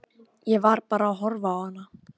Ég man að ég hugsaði einmitt þetta.